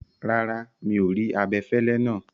Rárá, mi o rí abẹ̀fẹ̀lẹ̀ náà.